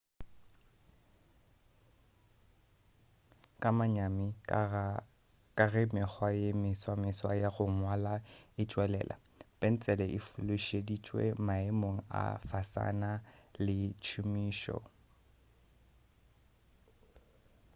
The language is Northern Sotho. ka manyami ka ge mekgwa ye meswa-meswa ya go ngwala e tšwelela pentsele e fološeditšwe maemong a fasana le tšhomišo